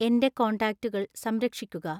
എൻ്റെ കോൺടാക്റ്റുകൾ സംരക്ഷിക്കുക